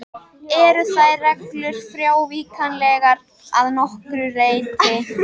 Eru þær reglur frávíkjanlegar að nokkru leyti.